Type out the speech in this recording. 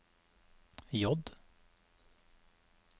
J